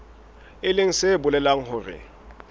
e leng se bolelang hore